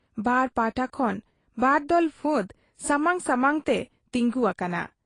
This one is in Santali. ᱵᱟᱨ ᱯᱟᱦᱴᱟ ᱠᱷᱚᱱ ᱵᱟᱨᱫᱚᱞ ᱯᱷᱟᱫᱽ ᱥᱟᱢᱟᱝ ᱥᱟᱢᱟᱝ ᱛᱮ ᱛᱤᱸᱜᱩ ᱟᱠᱟᱱᱟ ᱾